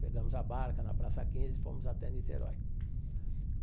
Pegamos a barca na Praça quinze e fomos até Niterói.